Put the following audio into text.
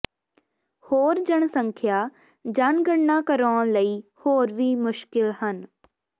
ਹੋਰ ਜਨਸੰਖਿਆ ਜਨਗਣਨਾ ਕਰਾਉਣ ਲਈ ਹੋਰ ਵੀ ਮੁਸ਼ਕਲ ਹਨ